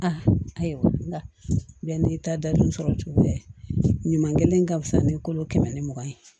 A ayiwa n'i ta dadun sɔrɔ cogoya ɲuman kelen ka fisa ni kolo kɛmɛ ni mugan ye